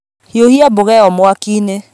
Hiũhia mboga ĩyo mwakiinĩ